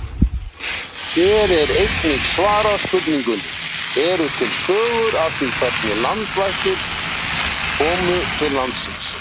Hér er einnig svarað spurningunni: Eru til sögur af því hvernig landvættirnar komu til landsins?